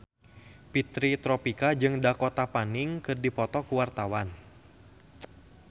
Fitri Tropika jeung Dakota Fanning keur dipoto ku wartawan